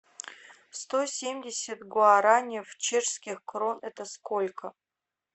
сто семьдесят гуараней в чешских крон это сколько